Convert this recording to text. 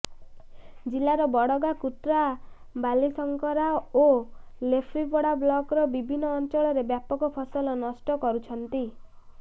ଜିଲ୍ଲାର ବଡଗାଁ କୁତ୍ରା ବାଲିଶଙ୍କରା ଓ ଲେଫ୍ରିପଡ଼ା ବ୍ଲକର ବିଭିନ୍ନ ଅଞ୍ଚଳରେ ବ୍ୟାପକ ଫସଲ ନଷ୍ଟ କରୁଛନ୍ତି